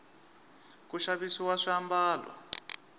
ku xavisiwa swiambalo